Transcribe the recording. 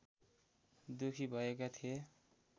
दुःखी भएका थिए